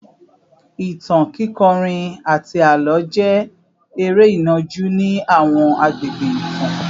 Ìtàn, kíkọrin, àti àlọ́ jẹ́ eré ìnàjú ní àwọn àgbègbè ìtàn